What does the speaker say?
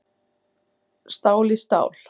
Stál í stál